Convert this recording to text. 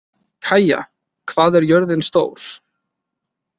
Kaía, hvað er jörðin stór?